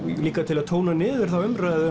líka til að tóna niður þá umræðu